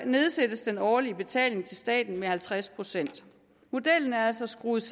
nedsættes den årlige betaling til staten med halvtreds procent modellen er altså skruet